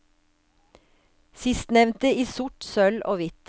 Sistnevnte i sort, sølv og hvitt.